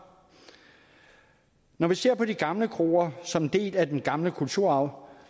når vi ser på de gamle kroer som en del af den gamle kulturarv